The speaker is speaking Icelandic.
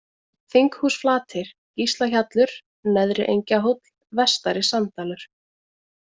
Þinghúsflatir, Gíslahjallur, Neðri-Engjahóll, Vestari-Sanddalur